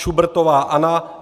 Šubertová Anna